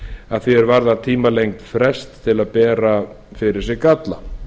að því er varðar tímalengd frests til að bera fyrir sig galla